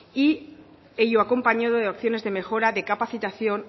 y ello acompañado de opciones de mejoras de capacitación